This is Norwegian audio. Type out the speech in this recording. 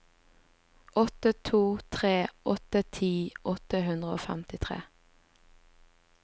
åtte to tre åtte ti åtte hundre og femtitre